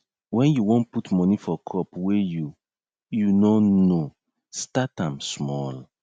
wen you won put moni for crop wey you you nor know start am small